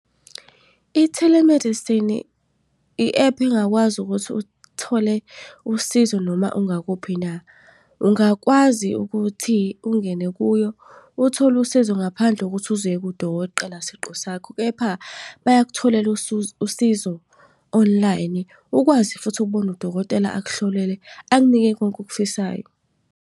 I-telemedicine i-ephu engakwazi ukuthi uthole usizo noma ungakuphi na. Ungakwazi ukuthi ungene kuyo uthole usizo ngaphandle kuthi uze uye siqu sakho. Kepha bayakutholela usizo online, ukwazi futhi ukubona udokotela akuhlolele, akunike konke okufisayo.